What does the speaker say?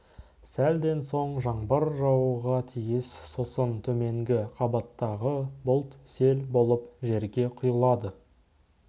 сәлден соң жаңбыр жаууға тиіс сосын төменгі қабаттағы бұлт сел болып жерге құйылады